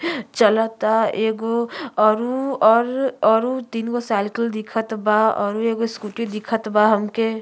चलता एगो औरु अर् औरु तीन गो सैल्कल दिखत बा औरु एगो स्कूटी दिखता बा हमके।